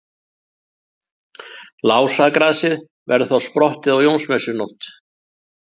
Lásagrasið verður þá sprottið á Jónsmessunótt.